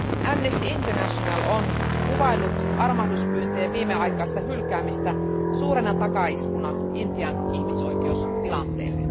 Amnesty International on kuvaillut armahduspyyntöjen viimeaikaista hylkäämistä suurena takaiskuna Intian ihmisoikeustilanteelle.